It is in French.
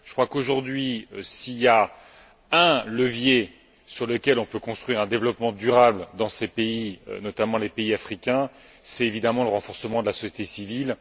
Je crois qu'aujourd'hui, s'il y a un levier sur lequel on peut construire un développement durable dans ces pays, notamment les pays africains, c'est évidemment le renforcement de la société civile.